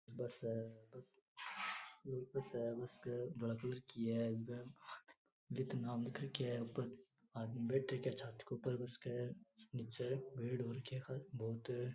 bus है bus के जीतू नाम लिख राखो है बैठे छत के ऊपर बस के ऊपर निचे पेड़ हो रखा बहुत --